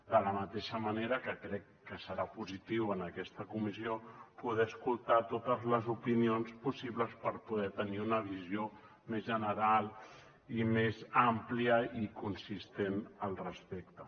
de la mateixa manera que crec que serà positiu en aquesta comissió poder escoltar totes les opinions possibles per poder tenir una visió més general i més àmplia i consistent al respecte